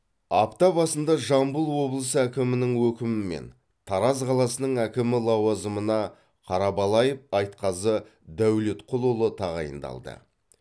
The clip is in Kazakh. апта басында жамбыл облысы әкімінің өкімімен тараз қаласының әкімі лауазымына қарабалаев айтқазы дәулетқұлұлы тағайындалды